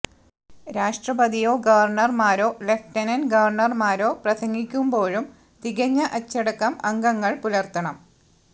രാഷ്ട്പതിയോ ഗവര്ണര്മാരോ ലെഫ്റ്റനന്റ് ഗവര്ണര്മാരോ പ്രസംഗിക്കുമ്പോഴും തികഞ്ഞ അച്ചടക്കം അംഗങ്ങള് പുലര്ത്തണം